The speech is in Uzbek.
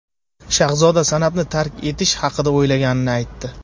Shahzoda san’atni tark etish haqida o‘ylaganini aytdi.